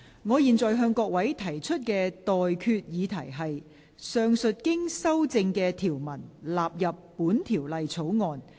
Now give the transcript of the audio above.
我現在向各位提出的待決議題是：上述經修正的條文納入本條例草案。